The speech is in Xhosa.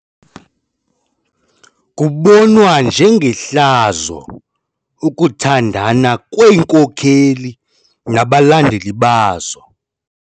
Kubonwa njengehlazo ukuthandana kweenkokeli nabalandeli bazo.